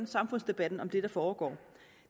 samfundsdebatten om det der foregår